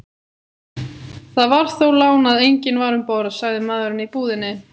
Það var þó lán að enginn var um borð, sagði maðurinn í búðinni.